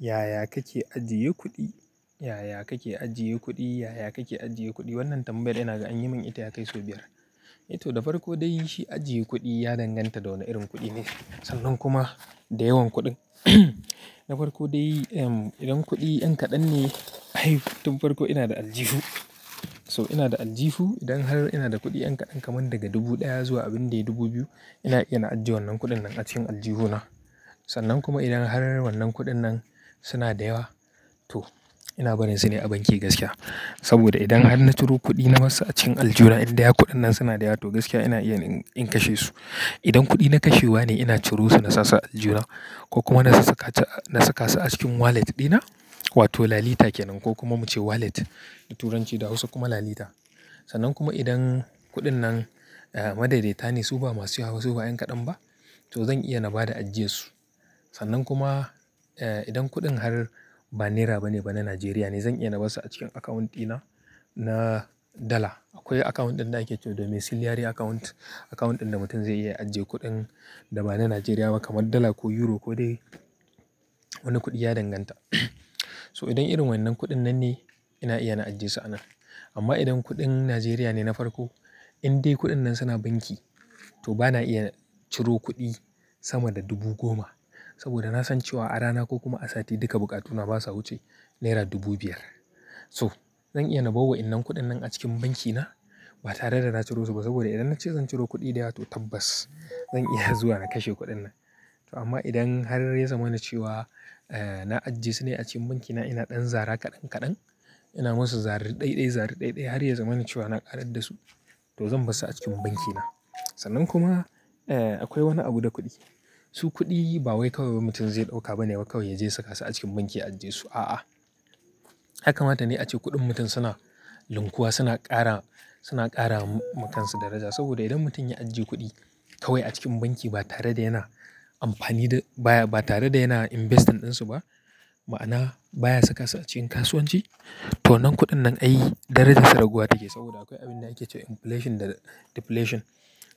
Yaya kake ajiye kuɗi? Yaya kake ajiye kuɗi? Yaya kake ajiye kuɗi? Wannan tambayar ina ga an yi min ita ya kai sau biyar. To, da farko dai shi ajiye kuɗi ya danganta da wane irin kuɗi ne sannan kuma da yawan kuɗin. Da farko dai, idan kuɗi ɗan kaɗan ne, ai tun farko ina da aljihu. So ina da aljihu. Idan har ina da kuɗi ɗan kaɗan, kamar daga dubu ɗaya zuwa abin da yana dubu biyu, ina iya na ajiye wannan kuɗin nan a cikin aljihu na. Sannan kuma idan har wannan kuɗin nan suna da yawa to ina barin su ne a banki gaskiya. Saboda idan har na ciro kuɗi na masa a cikin aljuna, in dai har kuɗin nan suna da yawa, to gaskiya ina iya in-in kashe su. Idan kuɗi na kashewa ne, ina ciro su na sa su a aljuhuna ko kuma na sa saka ce, na saka su a cikin wallet ɗina wato lalita ke nan ko kuma muke wallet da Turanci da Hausa kuma lalita. Sannan kuma idan kuɗin nan, madaidaita ne su ba masu yawa ba, su ba ɗan kaɗan ba, to zan iya na bada ajiyarsu. Sannan kuma, idan kuɗin har ba naira ba ne ba na Najeriya ne, zan iya na bar su a cikin akawunt ɗina na dala. Akwai akawunt ɗin da ake ce domin silliare akawunt. Akawunt ɗin da mutum zai iya ajjiye kuɗin da ba na Najeriya ba kamar dala ko euro ko dai wani kuɗi ya danganta. So idan irin wannan kuɗin nan ne, ina iya na ajjiye su a nan. Amma idan kuɗin Najeriya ne na farko, in dai kuɗin nan suna banki to bana iya ciro kuɗi sama da dubu goma. Saboda na san cewa a rana ko kuma a sati duka bukatuna ba sa wuce naira dubu biyar. So zan iya na bar wa'yannan kuɗin nan a cikin banki na ba tare da na ciro su ba saboda idan na ce zan ciro kuɗi da yawa to tabbas zan iya zuwa na kashe kuɗin nan. To amma idan har ya zama na cewa, na ajiye su ne a cikin banki na, ina ɗan zara kaɗan kaɗan, ina masu zari ɗaiɗai-zari ɗaiɗai har ya zama na cewa na ƙarar da su to zan bar su a cikin banki na. Sannan kuma, eh, akwai wani abu da kuɗi. Su kuɗi ba wai kawai mutum zai ɗauka ba ne kawai ya je ya saka su a cikin banki ya ajjiye su. A'a. Yakama ta ne ace kuɗin mutum suna linkuwa suna ƙara, suna ƙara ma-makansu daraja. Saboda idan mutum ya ajiye kuɗi kawai a cikin banki ba tare da yana amfani da baya, ba tare da yana investment ɗinsu ba, ma'ana baya saka su a cikin kasuwanci to wannan kuɗin nan ai darajarsa raguwa take. Saboda akwai abin da ake ce inflation da deflation.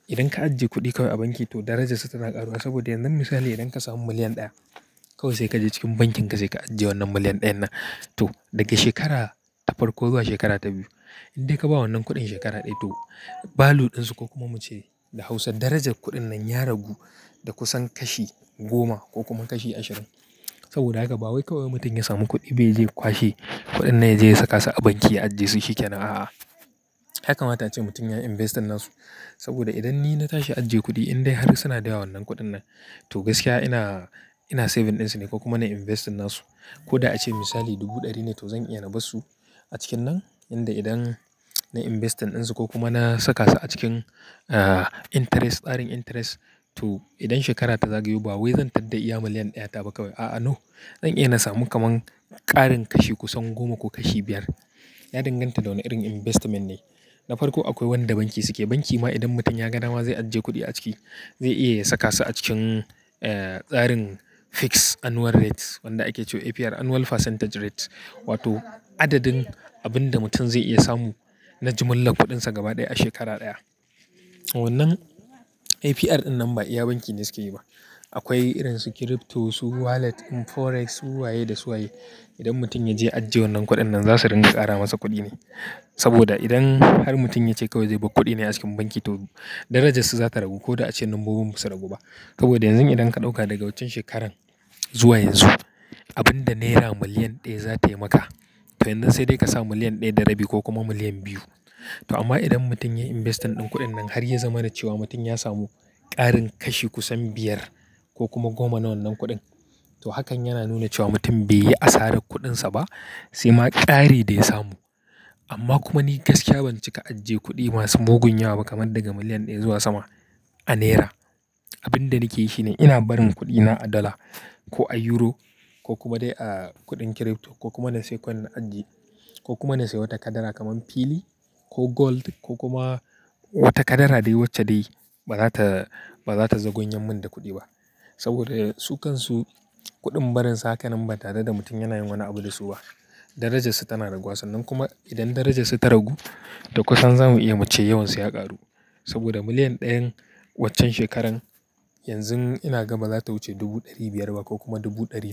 Idan ka ajiye kuɗi kawai a banki to darajarsa tana ƙaruwa saboda yanzu misali idan ka samu miliyan ɗaya kawai sai ka je cikin bankin ka sai ka ajiye wannan miliyan ɗayan nan to daga shekara ta farko zuwa shekara ta biyu in dai ka ba wannan kuɗin shekara ɗaya to value ɗin su ko kuma muke da Hausa darajar kuɗin nan ya ragu da kusan kashi goma ko kuma kashi ashirin. Saboda haka ba wai kawai mutum ya samu kuɗi ba yaje ya kwashe kuɗin nan ya je ya saka su a banki ya ajjiye su shi ke nan. A'a. Yakama ta ace mutum ya yi investing na su. Saboda idan ni na tashi ajiye kuɗi in dai har suna da yawa wannan kuɗin nan to gaskiya ina, ina saving ɗin su ne ko kuma na yi investing na su. Ko da a ce misali dubu ɗari ne to zan iya na bar su a cikin nan. Tunda idan na investing ɗin su ko kuma na saka su a cikin, interest, tsarin interest to idan shekara ta zagayo ba wai zan tadda iya miliyan ɗaya ta ba kawai. A'a, no. Zan iya na samu kaman ƙarin kashi kusan goma ko kashi biyar. Ya danganta da wane irin investment ne. Da farko akwai wanda banki suke. Banki ma idan mutum ya ga dama zai ajiye kuɗi a ciki zai iya saka su a cikin, tsarin fixed annual rate wanda ake ce APR annual percentage rate wato adadin abin da mutum zai iya samu na jumlar kuɗinsa gaba ɗaya a shekara ɗaya. Wannan APR ɗinnan ba iya banki ne suke yi ba. Akwai irin su crypto, su wallet, forex, su waye da su waye. Idan mutum ya je ya ajiye wannan kuɗin nan za su ringa ƙara masa kuɗi ne. Saboda idan har mutum ya ce kawai zai bar kuɗi ne a cikin banki to darajarsa za ta ragu ko da ace lambobin ba su ragu ba. Saboda yanzu idan ka ɗauka daga waccen shekarar zuwa yanzu abin da naira miliyan ɗaya za ta yi maka to yanzu sai dai ka sa miliyan ɗaya da rabi ko kuma miliyan biyu. To amma idan mutum ya yi investment ɗin kuɗin nan har ya zama na cewa mutum ya samu ƙarin kashi kusan biyar ko kuma goma na wannan kuɗin to hakan yana nuna cewa mutum bai yi asarar kuɗinsa ba sai ma ƙari dai ya samu. Amma kuma ni gaskiya ban cika ajiye kuɗi masu mugun yawa ba kamar daga miliyan ɗaya zuwa sama a naira. Abin da nake yi shi ne ina barin kuɗina a dala ko a euro ko kuma dai a kuɗin crypto ko kuma na sayi coin ajiye ko kuma na sayi wata kadara kamar fili ko gold ko kuma wata kadara dai wacce dai ba za ta, ba za ta zagwanyan min da kuɗi ba. Saboda su kansu kuɗin barinsu haka nan ba tare da mutum yana yin wani abu da su ba darajarsa tana raguwa. Sannan kuma idan darajarsa ta ragu, to kusan za mu iya muce yawansu ya ƙaru. Saboda miliyan ɗayan waccan shekaran yanzu ina gama za ta wuce dubu ɗari biyar ba ko kuma dubu ɗari.